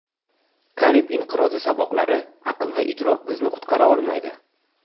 Karib inqirozi saboqlari Aql va idrok bizni qutqara olmaydi.